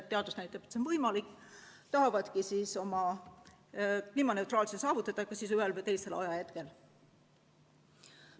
Teadus näitab, et see on võimalik, ja nad tahavadki kliimaneutraalsuse saavutada ühel või teisel ajahetkel.